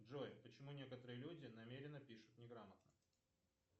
джой почему некоторые люди намеренно пишут неграмотно